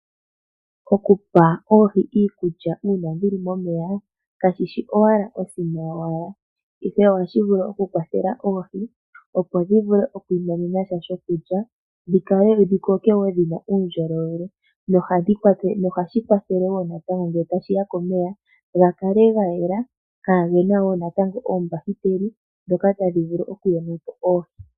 Okupa oohi iikulya uuna dhili momeya kashi shi owala osima yo wala, ihe ohashi vulu okukwathela oohi opo dhi vule okwi nyanyudha sha sho kulya, dhi koke wo dhina uundjolowele no hashi kwathele wo nge tashiya komeya ga kale ga yela, kaa ge na ombakiteli dhoka tadhi vulu okuyona po oohi.